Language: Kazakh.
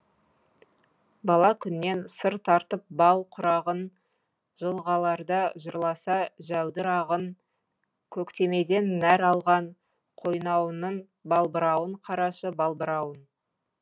бала күннен сыр тартып бау құрағың жылғаларда жырласа жәудір ағын көктемеден нәр алған қойнауыңның балбырауын қарашы балбырауын